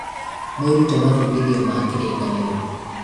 mwĩrute mabudithio ma kĩrĩkanĩro